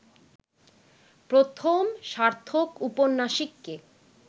প্রথম সার্থক উপন্যাসিক কে